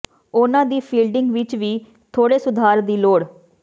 ਉਨ੍ਹਾਂ ਦੀ ਫੀਲਡਿੰਗ ਵਿਚ ਵੀ ਥੋੜ੍ਹੇ ਸੁਧਾਰ ਦੀ ਲੋੜ